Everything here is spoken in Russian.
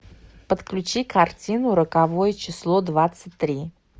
подключи картину роковое число двадцать три